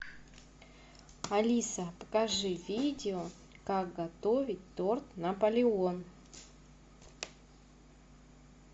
алиса покажи видео как готовить торт наполеон